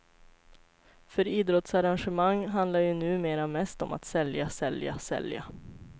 För idrottsarrangemang handlar ju nu mera mest om att sälja, sälja, sälja.